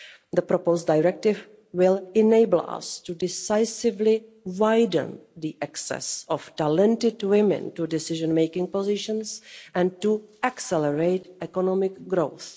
The proposed directive will enable us to decisively widen the access of talented women to decision-making positions and to accelerate economic growth.